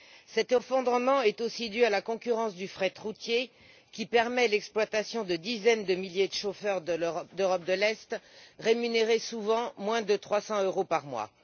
Cet effondrement est aussi dû à la concurrence du fret routier, qui permet l'exploitation de dizaines de milliers de chauffeurs d'Europe de l'Est, rémunérés souvent moins de 300 euros par mois.